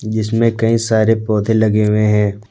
जिसमें कई सारे पौधे लगे हुए हैं ।